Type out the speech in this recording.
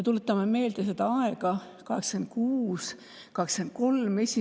Tuletame meelde seda aega, 1986. aastat.